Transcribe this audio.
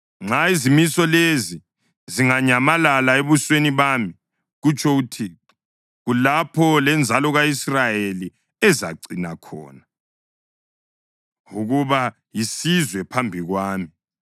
“Nxa izimiso lezi zinganyamalala ebusweni bami,” kutsho uThixo, “kulapho lenzalo ka-Israyeli ezacina khona ukuba yisizwe phambi kwami.”